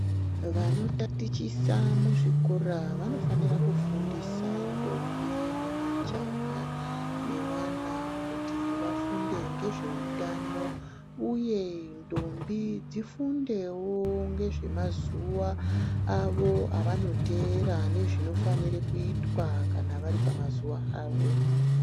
Vanotatichisa muzvikora vanofanira kufundisa ndombi nemajaha nevana kuti vafunde ngezveutano uye ndombi dzifundewo ngezvemazuwa avo avanoteera nezvinofane kuita kana vari pamazuva avo.